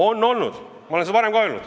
On olnud, ja ma olen seda varem ka öelnud.